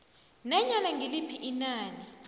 nanyana ngiliphi inani